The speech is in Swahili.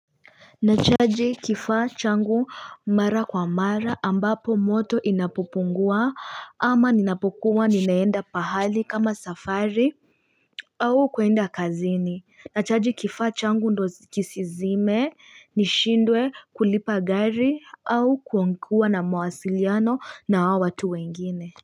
Nachaji kifaa changu mara kwa mara ambapo moto inapopungua ama ninapokuwa ninaenda pahali kama safari au kuenda kazini Nachaji kifaa changu ndo kisizime nishindwe kulipa gari au kuwa na mawasiliano na watu wengine.